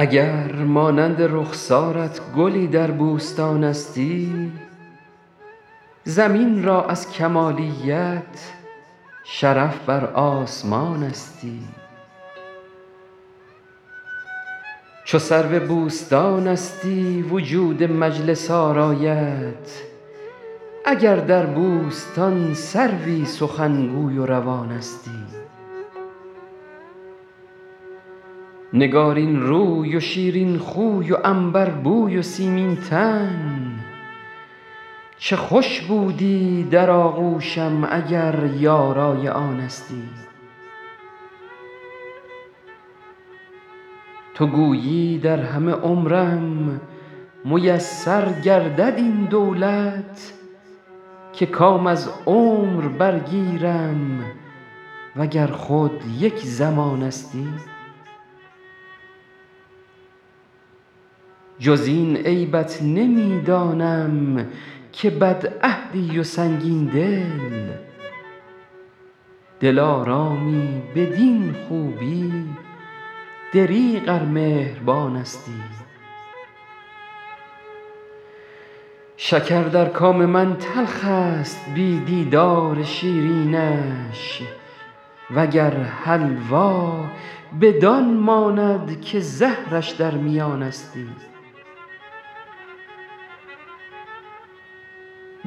اگر مانند رخسارت گلی در بوستانستی زمین را از کمالیت شرف بر آسمانستی چو سرو بوستانستی وجود مجلس آرایت اگر در بوستان سروی سخنگوی و روانستی نگارین روی و شیرین خوی و عنبربوی و سیمین تن چه خوش بودی در آغوشم اگر یارای آنستی تو گویی در همه عمرم میسر گردد این دولت که کام از عمر برگیرم و گر خود یک زمانستی جز این عیبت نمی دانم که بدعهدی و سنگین دل دلارامی بدین خوبی دریغ ار مهربانستی شکر در کام من تلخ است بی دیدار شیرینش و گر حلوا بدان ماند که زهرش در میانستی